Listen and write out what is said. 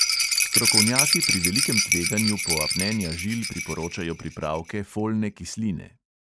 Strokovnjaki pri velikem tveganju poapnenja žil priporočajo pripravke folne kisline.